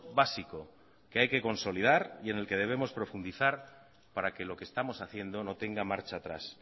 básico que haya que consolidar y en el que debemos profundizar para que lo que estamos haciendo no tenga marcha atrás